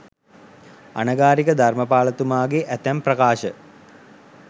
අනගාරික ධර්මපාලතුමාගේ ඇතැම් ප්‍රකාශ